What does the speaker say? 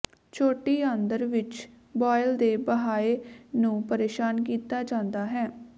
ਛੋਟੀ ਆਂਦਰ ਵਿੱਚ ਬਾਇਲ ਦੇ ਬਹਾਏ ਨੂੰ ਪਰੇਸ਼ਾਨ ਕੀਤਾ ਜਾਂਦਾ ਹੈ